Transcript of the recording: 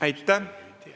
Aitäh!